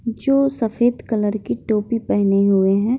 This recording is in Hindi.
जो सफ़ेद कलर की टोपी पेहने हुए हैं।